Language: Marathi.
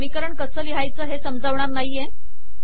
मी समीकरण कसे लिहावे हे समजावणार नाही आहे